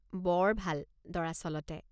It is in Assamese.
বৰ ভাল, দৰাচলতে।